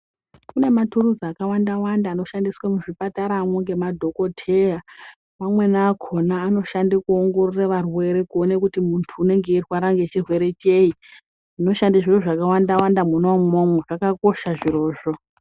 Kune mathuruzi akawanda wanda anoshandiswa muzvipataramwo ngemadhokoteya. Amweni akhona anoshande kuongorora arwere kuone kuti muntu unonga eirwara their. Zvinoshande zviro zvakawanda wanda mwona umwomwo zvakakosha zvirozvo.